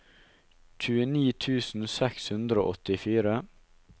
tjueni tusen seks hundre og åttifire